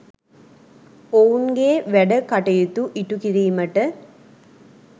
ඔවුන්ගේ වැඩකටයුතු ඉටුකිරීමට